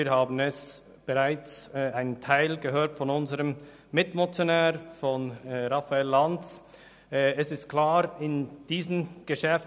Wir haben bereits von unserem Mitmotionär, Raphael Lanz, einiges gehört.